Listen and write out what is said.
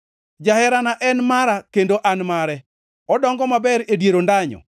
Jaherana en mara kendo an mare; odongo maber e dier ondanyo.